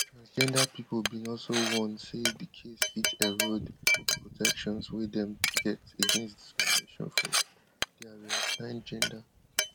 transgender pipo bin also warn say di case fit erode di protections wey dem get against discrimination for dia reassigned gender